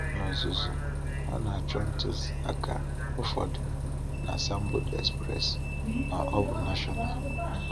N’ozuzu, ọ na-achọ ntuziaka ụfọdụ na asambodo Express ma ọ bụ National.